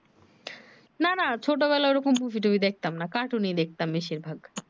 না না ছোট বেলায় ঐ রকম মুভি টুভি দেখতাম না কাটুনি দেখতাম বেশির ভাগ